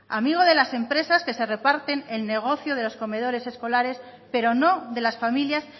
amigo de las empresas que se reparten el negocio de los comedores escolares pero no de las familias